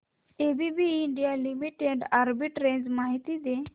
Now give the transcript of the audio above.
ABB India limited arbitrage माहिती दे